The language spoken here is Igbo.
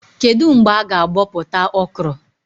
Kedụ mgbe a-ga abọpụta Okro?